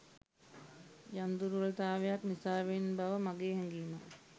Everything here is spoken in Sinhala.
යම් දුර්වල තාවයක් නිසාවෙන් බව මගේ හැඟීමයි